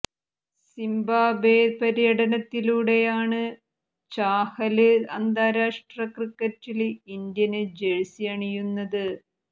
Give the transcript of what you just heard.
Zimbabwe പര്യടനത്തിലൂടെയാണ് ചാഹല് അന്താരാഷ്ട്ര ക്രിക്കറ്റില് ഇന്ത്യന് ജേഴ്സി അണിയുന്നത്